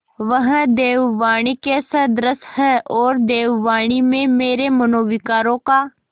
वह देववाणी के सदृश हैऔर देववाणी में मेरे मनोविकारों का